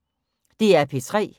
DR P3